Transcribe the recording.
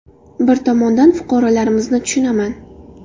Bir tomondan, fuqarolarimizni tushunaman.